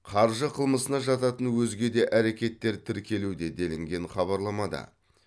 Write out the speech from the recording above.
қаржы қылмысына жататын өзге де әрекеттер тіркелуде делінген хабарламада